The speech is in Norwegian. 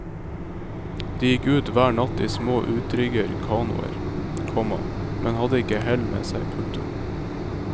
De gikk ut hver natt i små utrigger kanoer, komma men hadde ikke hell med seg. punktum